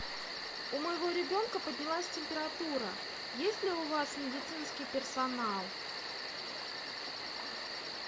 у моего ребенка поднялась температура есть ли у вас медицинский персонал